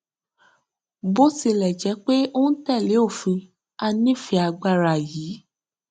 bó tilẹ jẹ pé ó ń tẹlé òfin a nífẹẹ agbára yí